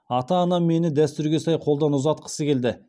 ата анам мені дәстүрге сай қолдан ұзатқысы келді